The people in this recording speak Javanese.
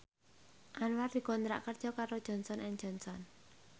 Anwar dikontrak kerja karo Johnson and Johnson